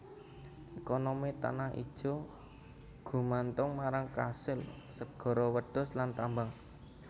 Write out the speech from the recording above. Ekonomi Tanah Ijo gumantung marang kasil segara wedhus lan tambang